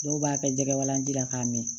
Dɔw b'a kɛ jɛgɛwalanji la k'a mɛn